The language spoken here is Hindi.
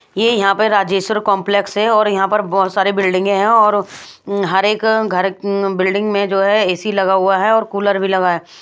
ये यहाँ पर राजेश्वर कॉम्प्लेक्स है और यहाँ पर बहुत सारी बिल्डिंगें हैं और हर एक घर बिल्डिंग में जो है ए_सी लगा हुआ है और कूलर भी लगा है ।